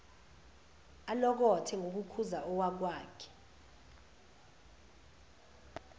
alokothe ngokukhuza owakwakhe